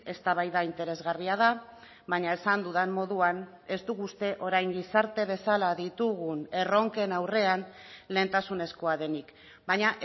eztabaida interesgarria da baina esan dudan moduan ez dugu uste orain gizarte bezala ditugun erronken aurrean lehentasunezkoa denik baina